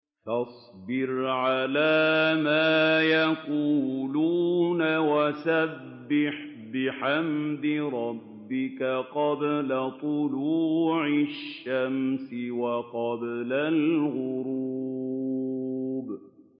فَاصْبِرْ عَلَىٰ مَا يَقُولُونَ وَسَبِّحْ بِحَمْدِ رَبِّكَ قَبْلَ طُلُوعِ الشَّمْسِ وَقَبْلَ الْغُرُوبِ